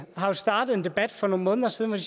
har jo startet en debat for nogle måneder siden